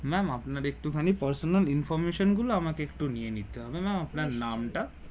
ma'am আপনার একটু খানি personal information গুলো আমাকে একটু নিয়ে নিতে হবে ম্যাম আপনার নাম টা